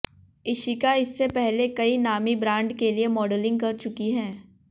इशिका इससे पहले कई नामी ब्रांड के लिए मॉडलिंग कर चुकी है